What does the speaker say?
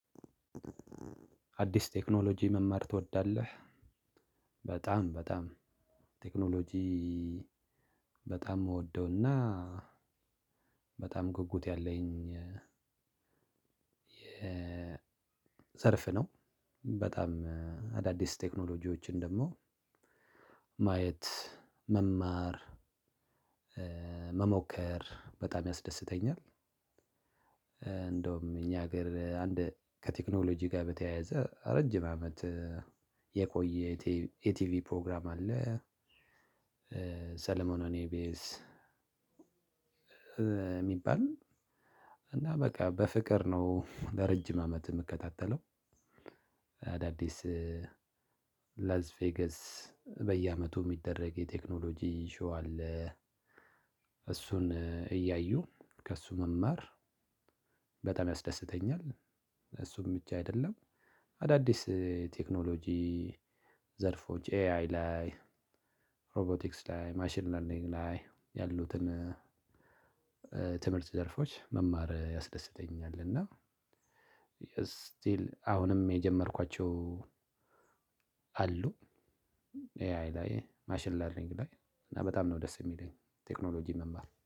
አዲስ ቴክኖሎጂ መማር ትወዳለህ? በጣም፣ በጣም፣ ቴክኖሎጂ በጣም ምወደዉና በጣም ጉጉት ያለኝ የዘርፍ ነው፤ በጣም አዳዲስ ቴክኖሎጂዎችን ደግሞ ማየት፣ መማር፣ መሞከር በጣም ያስደስተኛል፤ እንደውም እኛ ሀገር አንድ ከቴክኖሎጂ ጋር በተያያዘ ረጅም አመት የቆየ የቲቪ ፕሮግራም አለ፤ ሰለሞን ኦን ኢ። ቢ። ኤስ የሚባል እና በቃ በፍቅር ነው ለረጅም አመት የምከታተለው፤ አዳዲስ ላዝ ቬገስ በየአመቱ የሚደረግ የቴክኖሎጂ ሾው አለ፤ እሱን እያዩ ከእሱ መማር በጣም ያስደስተኛል፤ እሱም ብቻ አይደለም፣ አዳዲስ ቴክኖሎጂ ዘርፎች ኤአይ ላይ፣ ሮቦቲክስ ላይ፣ ማሽን ለርኒንግ ላይ፤ ያሉትን ትምህርት ዘርፎች መማር ያስደስተኛል እና ስቲል አሁንም የጀመርኳቸው አሉ፤ ኤአይ ላይ፣ ማሽን ላርኒንግ ላይ፣ እና በጣም ነው ደስ የሚለኝ ቴክኖሎጂ መማር፤